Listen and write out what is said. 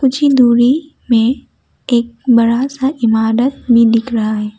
कुछ ही दूरी में एक बड़ा सा इमारत भी दिख रहा है।